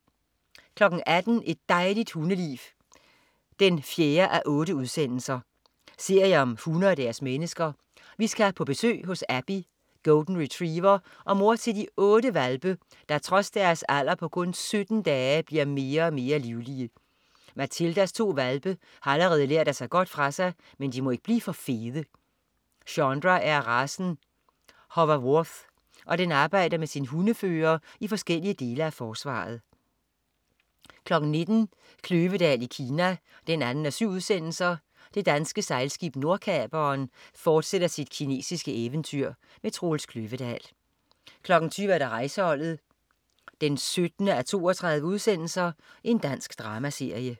18.00 Et dejligt hundeliv 4:8. Serie om hunde og deres mennesker. Vi skal på besøg hos Abbey, Golden Retriever og mor til de otte hvalpe, der trods deres alder på kun 17 dage bliver mere og mere livlige. Matildas to hvalpe har allerede lært at tage godt for sig, men de må ikke blive for fede. Schondra er af racen Hovawart, og den arbejder med sin hundefører i forskellige dele af Forsvaret 19.00 Kløvedal i Kina 2:7. Det danske sejlskib Nordkaperen fortsætter sit kinesiske eventyr. Troels Kløvedal 20.00 Rejseholdet 17:32. Dansk dramaserie